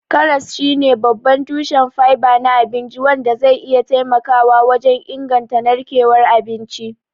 Karas shine babban tushen fiber na abinci, wanda zai iya taimakawa wajen inganta narkewar abinci.